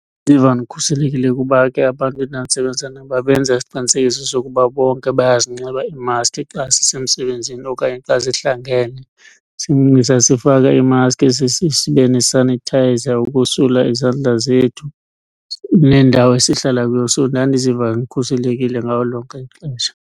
Ndiva ndikhuselekile kuba ke abantu endandisebenza nabo babenza isiqinisekiso sokuba bonke bayazinxiba iimaskhi xa sisemsebenzini okanye xa sihlangene. Sasifaka iimaskhi, sibe ne-sanitizer ukosula izandla zethu nendawo esihlala kuyo. So ndandiziva ndikhuselekile ngalo lonke ixesha.